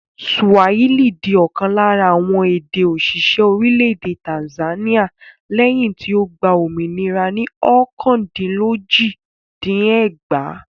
Swahili di ọ̀kan lára àwọn èdè-òṣìṣẹ́ orílẹ̀-èdè Tanzania lẹ́yìn tí ó gba òmìnira ní ọ̀kandínlójì-dín-ẹgbàá.